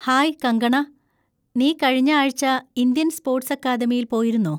Hi Kangana, നീ കഴിഞ്ഞ ആഴ്ച്ച ഇന്ത്യൻ സ്പോർട്സ് അക്കാദമിയിൽ പോയിരുന്നോ?